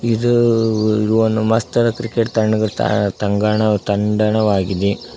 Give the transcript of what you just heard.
ಇದು ಓ ಒನ್ ಮಸ್ತ್ ಆದ ಕ್ರಿಕೇಟ್ ಕ್ರಿಕೆಟ್ ತನಗ್ ತಾ ತಂಗಣ ವ ತಂಡನವಾಗಿದೆ.